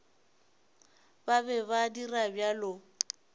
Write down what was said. ba be ba dira bjalo